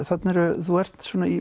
þarna eru þú ert